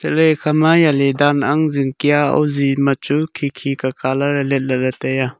ley ekha ma jali dan ang zing kya oji machu khi khi ke kalar leh le le taiya.